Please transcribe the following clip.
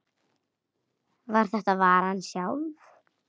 var þetta varan sjálf.